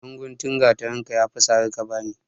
Ɗan guntun gatarinka ya fi sare ka bani.